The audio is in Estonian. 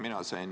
Aitäh!